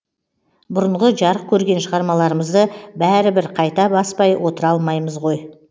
бұрынғы жарық көрген шығармаларымызды бәрі бір қайта баспай отыра алмаймыз ғой